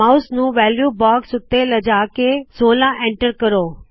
mouse ਨੂ value box ਉੱਤੇ ਲੈਜਾ ਕੇ 16 ਐਂਟਰ ਕਰੋ